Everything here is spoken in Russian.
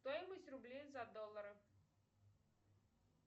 стоимость рублей за доллары